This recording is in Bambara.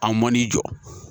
A mɔn'i jɔ